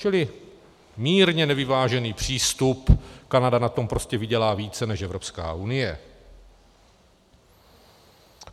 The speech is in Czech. Čili mírně nevyvážený přístup, Kanada na tom prostě vydělá více než Evropská unie.